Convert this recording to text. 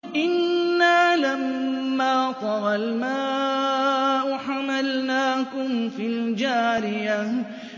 إِنَّا لَمَّا طَغَى الْمَاءُ حَمَلْنَاكُمْ فِي الْجَارِيَةِ